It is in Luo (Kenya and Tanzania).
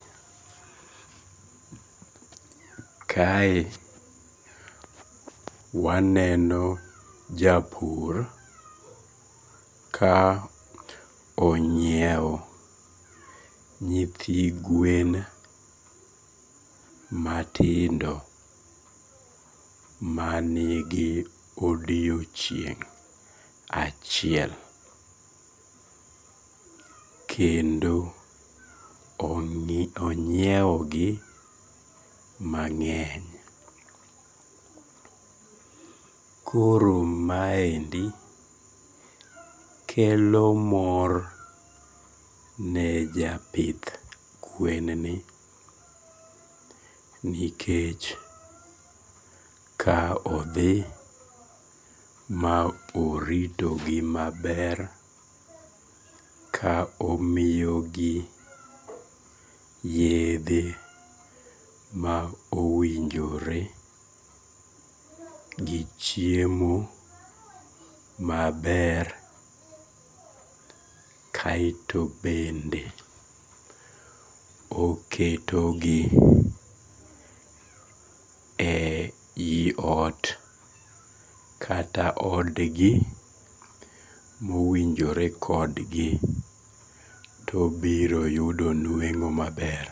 Kae waneno japur ka onyiewo nyithi gwen matindo manigi odiechieng' achiel kendo onyiewogi mang'eny. Koro maendi kelo mor ne japith gwen ni nikech ka odhi ma oritogi maber ka omiyogi yedhe ma owinjore gi chiemo maber kaeto bende oketogi e eiot kata odgi mowinjore kodgi to obiro yudo nueng'o maber.